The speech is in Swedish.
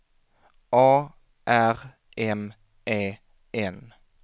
A R M E N